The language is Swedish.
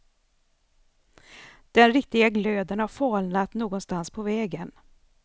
Den riktiga glöden har falnat någonstans på vägen.